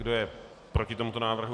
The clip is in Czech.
Kdo je proti tomuto návrhu?